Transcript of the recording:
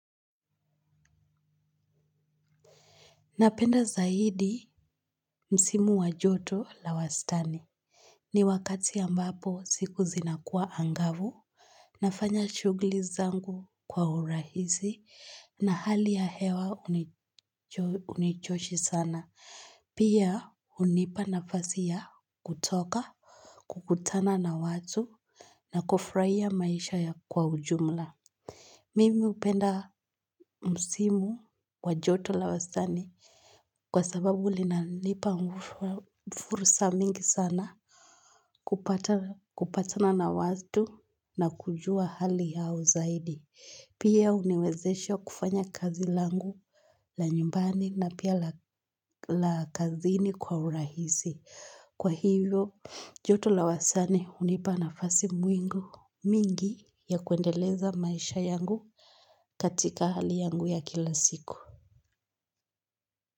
Napenda zaidi msimu wa joto la wastani. Ni wakati ambapo siku zinakua angavu. Nafanya shughuli zangu kwa urahisi na hali ya hewa hunichoshi sana. Pia hunipa nafasi ya kutoka, kukutana na watu na kufurahia maisha ya kwa ujumla. Mimi hupenda msimu wa joto la wastani kwa sababu linalipa fursa mingi sana kupatana na watu na kujua hali yao zaidi. Pia huniwezesha kufanya kazi langu la nyumbani na pia la kazini kwa urahisi. Kwa hivyo, joto la wastani hunipa nafasi mingi ya kuendeleza maisha yangu katika hali yangu ya kila siku.